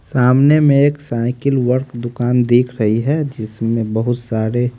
सामने में एक साइकिल वर्क दुकान दिख रही है जिसमें बहुत सारे--